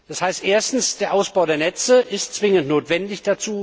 Das heißt erstens Der Ausbau der Netze ist zwingend notwendig.